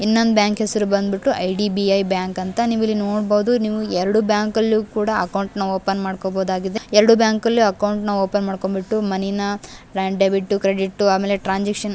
ಇನ್ನೊಂದು ಬ್ಯಾಂಕ್ ಹೆಸರು ಬಂದ್ಬಿಟ್ಟು ಐ.ಡಿ.ಬಿ.ಐ ಬ್ಯಾಂಕ್ ಅಂತ ನೀವಿಲ್ಲಿ ನೋಡಬಹುದು. ನೀವು ಎರಡು ಬ್ಯಾಂಕ್ ಅಲ್ಲೂ ಕೂಡ ಅಕೌಂಟ್ ನ ಓಪನ್ ಮಾಡ್ಕೋಬಹುದಾಗಿದೆ .ಎರಡು ಬ್ಯಾಂಕ್ ಅಲ್ಲೂ ಕೂಡ ಅಕೌಂಟ್ ನ ಓಪನ್ ಮಾಡ್ಕೊಂಡ್ಬಿಟ್ಟು ಮನಿ ನ ಡೆಬಿಟ್ ಕ್ರೆಡಿಟ್ ಆಮೇಲೆ ಟ್ರಾನ್ಸಾಕ್ಷನ್ --